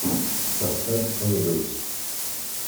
поставь сон люкс